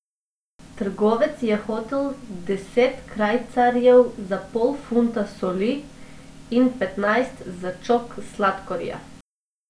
Trgovec je hotel deset krajcarjev za pol funta soli in petnajst za čok sladkorja.